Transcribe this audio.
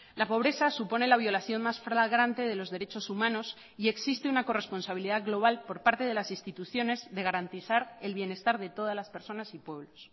la pobreza supone la violación más flagrante de los derechos humanos y existe una corresponsabilidad global por parte de las instituciones de garantizar el bienestar de todas las personas y pueblos